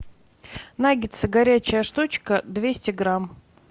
наггетсы горячая штучка двести грамм